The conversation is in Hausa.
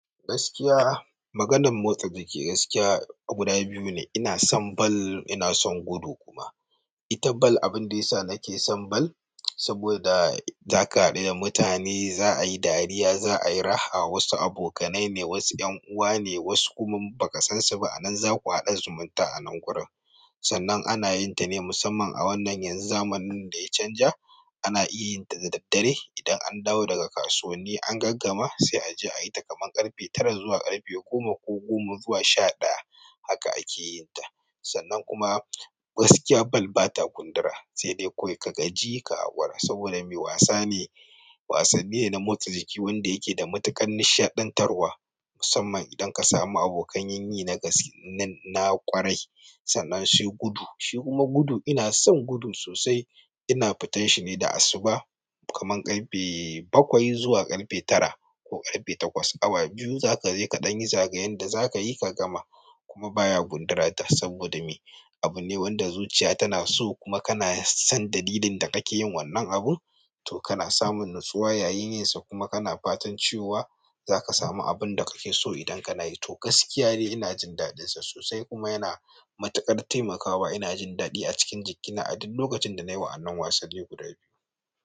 Gaskiya, maganan motsa jiki gaskiya guda biyu ne. Ina son ball, ina son gudu kuma. Ita ball, abinda yasa nake son ball saboda zaka haɗu da mutane, za ayi dariya, za ayi raha. Wasu abokanai ne, wasu ƴan uwa ne, wasu kuma baka san su ba a nan. Za ku haɗa zumunta a nan gurin. Sannan ana yin ta ne musamman a wannan yan zamanin da ya canja. Ana iya yin ta da daddare. Idan an dawo daga kasuwanni an gaggama se aje a yita kamar ƙarfe tara zuwa ƙarfe goma ko, ko goma zuwa sha ɗaya, haka ake yin ta. Sannan kuma gaskiya ball ba ta gundura, sai dai kawai ka gaji ka haƙura saboda me? Wasane, wasanni ne na motsa jiki wanda yake da matuƙar nishaɗantarwa musamman idan ka samu abokan yin yini na gaske nan na ƙwarai. Sannan sai gudu. Shi kuma gudu ina son gudu sosai. Ina fitan shi ne da asubah kamar ƙarfe bakwai zuwa ƙarfe tara ko ƙarfe takwas. Awa biyu za ka je kaɗan yi zagayen da zaka yi ka gama, kuma baya gundura ta saboda me? Abune wanda zuciya tana so kuma kana son dalilin da kake yin wannan abun, to kana samun natsuwa yayin yin sa kuma kana fatan cewa zaka samu abinda kake so idan kana yi. Toh, gaskiya dai ina jin daɗin sa sosai kuma yana matuƙar taimakawa. Ina jin daɗi a cikin jikina a duk lokacin da nayi wa'annan wasanni guda biyu.